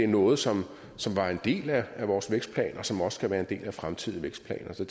noget som som var en del af vores vækstplan og som også skal være en del af fremtidige vækstplaner så